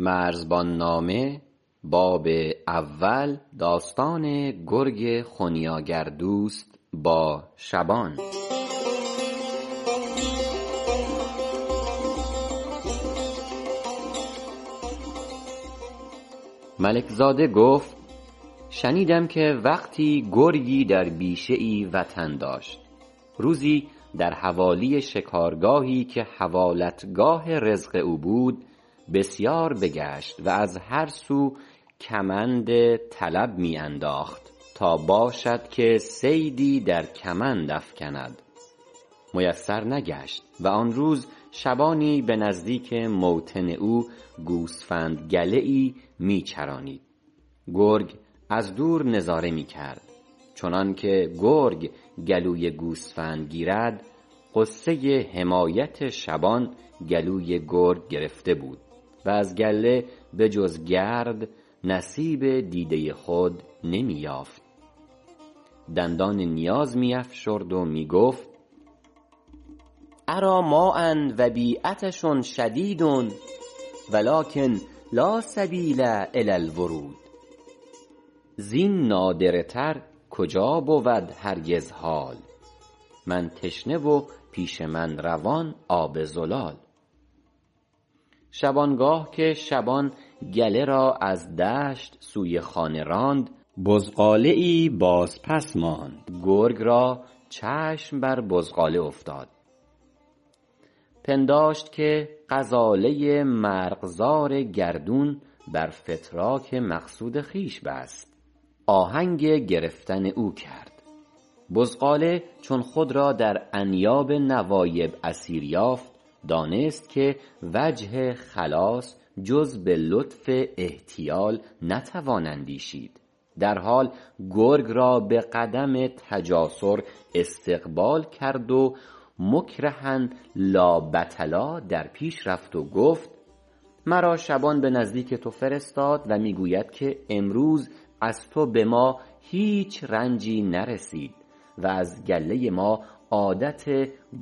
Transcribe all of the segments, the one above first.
ملک زاده گفت شنیدم که وقتی گرگی در بیشه ای وطن داشت روزی در حوالی شکارگاهی که حوالت گاه رزق او بود بسیار بگشت و از هر سو کمند طلب می انداخت تا باشد که صیدی در کمند افکند میسر نگشت و آن روز شبانی به نزدیک موطن او گوسفند گله می چرانید گرگ از دور نظاره می کرد چنانکه گرگ گلوی گوسفند گیرد غصه حمایت شبان گلوی گرگ گرفته بود و از گله بجز گرد نصیب دیده خود نمی یافت دندان نیاز می افشرد و می گفت أری ماء و بی عطش شدید و لکن لا سبیل إلی الورود زین نادره تر کجا بود هرگز حال من تشنه و پیش من روان آب زلال شبانگاه که شبان گله را از دشت سوی خانه راند بزغاله باز پس ماند گرگ را چشم بر بزغاله افتاد پنداشت که غزاله مرغزار گردون بر فتراک مقصود خویش بست آهنگ گرفتن او کرد بزغاله چون خود را در انیاب نوایب اسیر یافت دانست که وجه خلاص جز به لطف احتیال نتوان اندیشید در حال گرگ را به قدم تجاسر استقبال کرد و مکرها لابطلا در پیش رفت و گفت مرا شبان به نزدیک تو فرستاد و می گوید که امروز از تو به ما هیچ رنجی نرسید و از گله ما عادت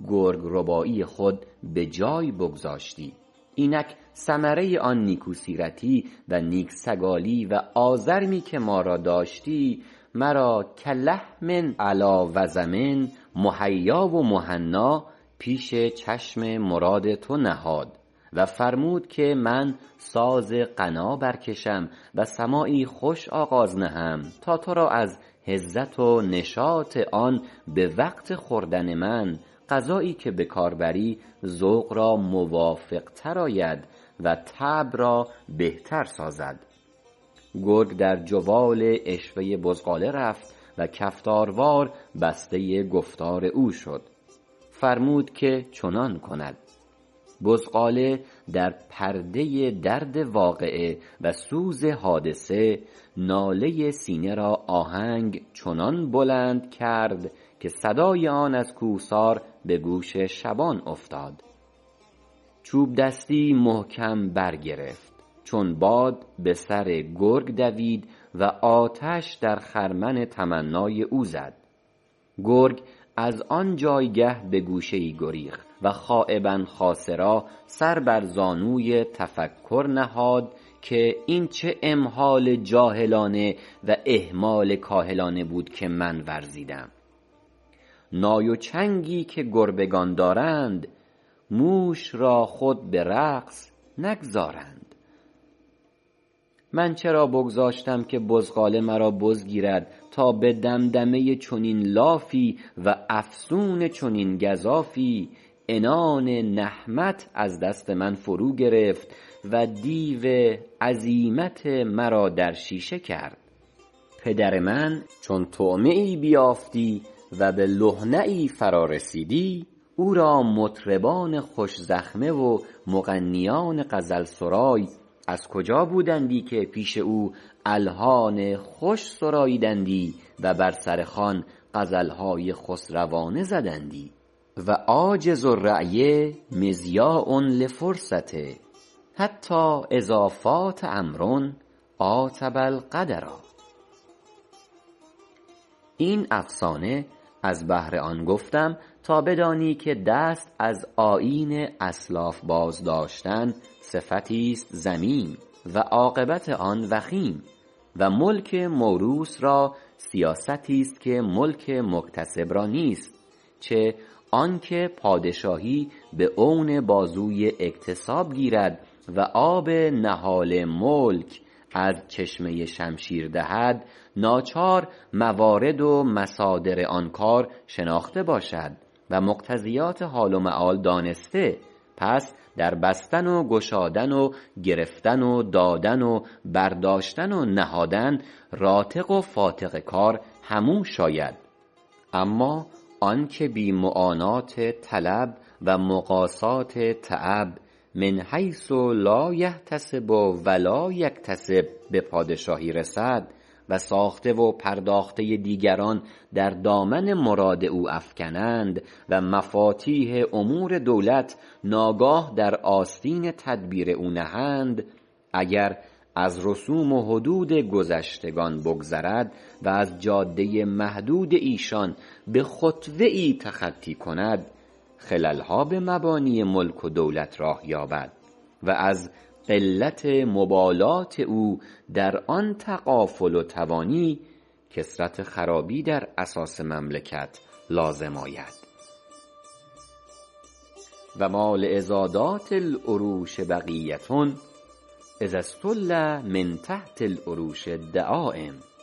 گرگ ربایی خود به جای بگذاشتی اینک ثمره آن نیکو سیرتی و نیک سگالی و آزرمی که ما را داشتی مرا کلحم علی وضم مهیا و مهنا پیش چشم مراد تو نهاد و فرمود که من ساز غنا برکشم و سماعی خوش آغاز نهم تا ترا از هزت و نشاط آن به وقت خوردن من غذایی که به کار بری ذوق را موافق تر آید و طبع را بهتر سازد گرگ در جوال عشوه بزغاله رفت و کفتار وار بسته گفتار او شد فرمود که چنان کند بزغاله در پرده درد واقعه و سوز حادثه ناله سینه را آهنگ چنان بلند کرد که صدای آن از کوهسار به گوش شبان افتاد چوب دستی محکم برگرفت چون باد به سر گرگ دوید و آتش در خرمن تمنای او زد گرگ از آن جایگه به گوشه ای گریخت و خایبا خاسرا سر بر زانوی تفکر نهاد که این چه امهال جاهلانه و اهمال کاهلانه بود که من ورزیدم نای و چنگی که گربگان دارند موش را خود به رقص نگذارند من چرا بگذاشتم که بزغاله مرا بز گیرد تا به دمدمه چنین لافی و افسون چنین گزافی عنان نهمت از دست من فرو گرفت و دیو عزیمت مرا در شیشه کرد پدر من چون طعمه ای بیافتی و به لهنه فراز رسیدی او را مطربان خوش زخمه و مغنیان غزل سرای از کجا بودندی که پیش او الحان خوش سرالیدندی و بر سر خوان غزل های خسروانه زدندی و عاجز الرای مضیاع لفرصته حتی إذا فات أمر عاتب القدرا این افسانه از بهر آن گفتم تا بدانی که دست از آیین اسلاف باز داشتن صفتی است ذمیم و عاقبت آن وخیم و ملک موروث را سیاستی است که ملک مکتسب را نیست چه آنکه پادشاهی به عون بازوی اکتساب گیرد و آب نهال ملک از چشمه شمشیر دهد ناچار موارد و مصادر آن کار شناخته باشد و مقتضیات حال و مآل دانسته پس در بستن و گشادن و گرفتن و دادن و برداشتن و نهادن راتق و فاتق کار همو شاید اما آنکه بی معانات طلب و مقاسات تعب من حیث لا یحتسب و لا یکتسب به پادشاهی رسد و ساخته و پرداخته دیگران در دامن مراد او افکنند و مفاتیح امور دولت ناگاه در آستین تدبیر او نهند اگر از رسوم و حدود گذشتگان بگذرد و از جاده محدود ایشان به خطوه تخطی کند خلل ها به مبانی ملک و دولت راه یابد و از قلت مبالات او در آن تغافل و توانی کثرت خرابی در اساس مملکت لازم آید و ما لعضادات العروش بقیه اذا استل من تحت العروش الدعایم